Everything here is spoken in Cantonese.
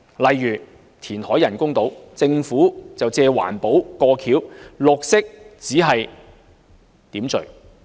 例如填海建造人工島，政府只是以"環保"作為幌子，"綠色"只是點綴而已。